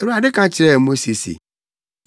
Awurade ka kyerɛɛ Mose se.